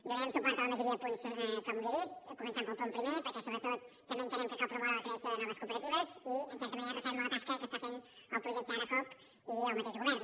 donarem suport a la majoria de punts com li he dit començant pel punt primer perquè sobretot també entenem que cal promoure la creació de noves cooperatives i en certa manera referma la tasca que està fent el projecte ara coop i el mateix govern